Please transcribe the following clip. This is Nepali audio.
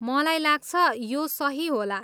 मलाई लाग्छ, यो सही होला।